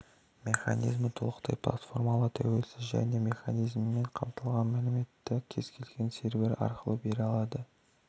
механизмі толықтай платформалы тәуелсіз және механизмімен қамтылған мәліметті кез-келген сервері арқылы бере алады